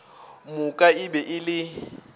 moka e be e le